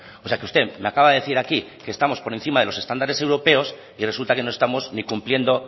o sea que usted me acaba de decir aquí que estamos por encima de los estándares europeos y resulta que no estamos ni cumpliendo